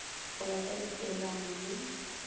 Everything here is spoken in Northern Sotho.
go ya ka dipeelano le